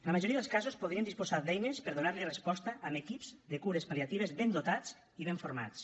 la majoria dels casos podrien disposar d’eines per a donar li resposta amb equips de cures pal·liatives ben dotats i ben formats